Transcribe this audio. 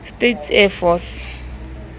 states air force